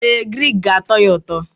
Ee, grik ga-atọ ya ụtọ.